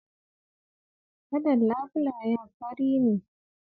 Kalar labulayen fari ne.